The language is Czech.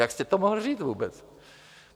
Jak jste to mohl říct vůbec?